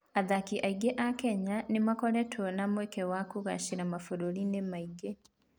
Athaki aingĩ a Kenya nĩ makoretwo na mweke wa kũgaacĩra mabũrũri-inĩ mangĩ.